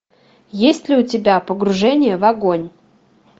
есть ли у тебя погружение в огонь